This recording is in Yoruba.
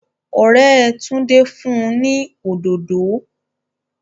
òré Tunde Fún ní òdòdò